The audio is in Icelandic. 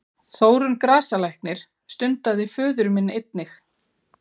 Þórunn grasalæknir stundaði föður minn einnig.